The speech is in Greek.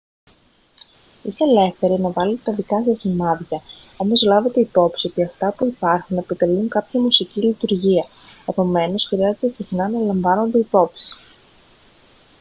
είστε ελεύθεροι να βάλετε τα δικά σας σημάδια όμως λάβετε υπόψη ότι αυτά που υπάρχουν επιτελούν κάποια μουσική λειτουργία επομένως χρειάζεται συχνά να λαμβάνονται υπόψη